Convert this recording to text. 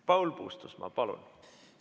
Paul Puustusmaa, palun!